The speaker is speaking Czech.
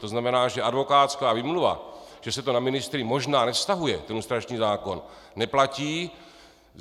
To znamená, že advokátská výmluva, že se to na ministry možná nevztahuje, ten lustrační zákon, neplatí...